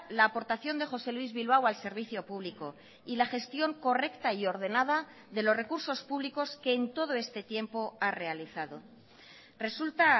la aportación de josé luis bilbao al servicio público y la gestión correcta y ordenada de los recursos públicos que en todo este tiempo ha realizado resulta